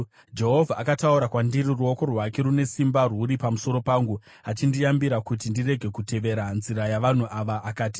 Jehovha akataura kwandiri ruoko rwake rune simba rwuri pamusoro pangu, achindiyambira kuti ndirege kutevera nzira yavanhu ava, akati: